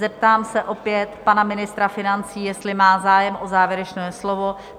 Zeptám se opět pana ministra financí, jestli má zájem o závěrečné slovo?